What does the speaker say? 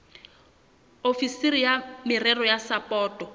ofisiri ya merero ya sapoto